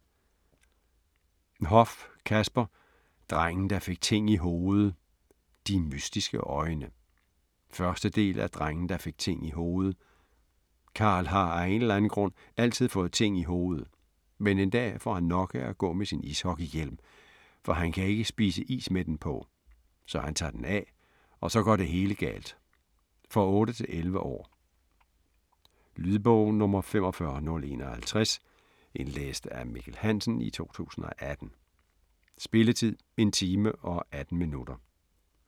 Hoff, Kasper: Drengen der fik ting i hovedet - "de mystiske øjne" 1. del af Drengen der fik ting i hovedet. Karl har af en eller anden grund altid fået ting i hovedet, men en dag får han nok af at gå med sin ishockeyhjelm, for han kan ikke spise is med den på. Så han tager den af, og så går det hele galt. For 8-11 år. Lydbog 45051 Indlæst af Mikkel Hansen, 2018. Spilletid: 1 time, 18 minutter.